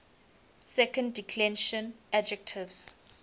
second declension adjectives